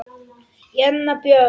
Jenna Björk.